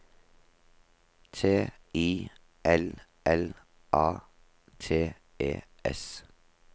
T I L L A T E S